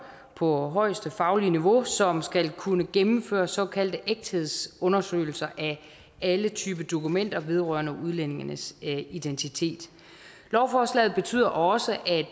på højeste faglige niveau som skal kunne gennemføre såkaldte ægthedsundersøgelser af alle typer dokumenter vedrørende udlændinges identitet lovforslaget betyder også at